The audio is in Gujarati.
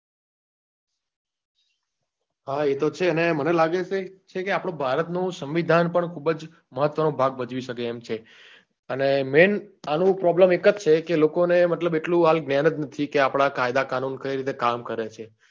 હા એ તો છે ને અને મને લાગે છે કે આપડા ભારત નું સંમીધાન પણ ખુબ જ મહત્વ નો ભાગ ભજવી સકે એમ છે અને main આનું problem એક જ છે ક લોકો ને મતલબ એટલું હાલ જ્ઞાન જ નથી કે આપડા કાયદા કાનૂન કઈ રીતે કામ કરે છે.